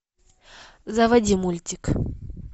заводи мультик